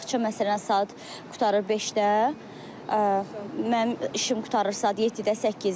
Bağça məsələn saat qurtarır 5-də, mənim işim qurtarır saat 7-də, 8-də.